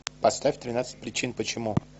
поставь тринадцать причин почему